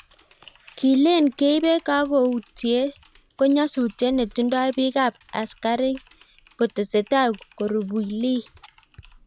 kileen keipe kakoutye ko nyosusiet netindoi bikap askarnat kotesetai korubui leey